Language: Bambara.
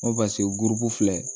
N ko paseke guru filɛ